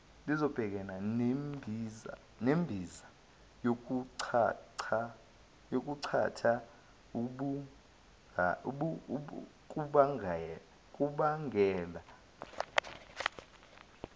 nembiza yokuchatha kubangela